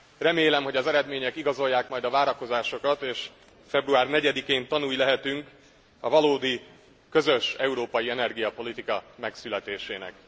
Remélem, hogy az eredmények igazolják majd a várakozásokat, és február 4 én tanúi lehetünk a valódi közös európai energiapolitika megszületésének.